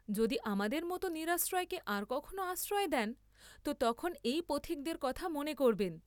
যদি আমাদের মত নিরাশ্রয়কে আর কখনো আশ্রয় দেন তো তখন এই পথিকদের কথা মনে করবেন।